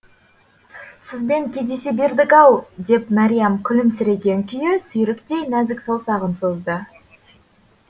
сізбен кездесе бердік ау деп мәриям күлімсіреген күйі сүйріктей нәзік саусағын созды